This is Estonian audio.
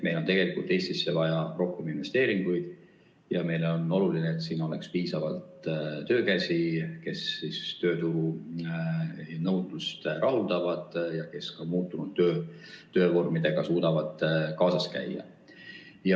Meil on tegelikult Eestisse vaja rohkem investeeringuid ja meile on oluline, et siin oleks piisavalt töökäsi, kes tööturu nõudlust rahuldaksid ja kes suudaksid ka muutunud töövormidega kaasas käia.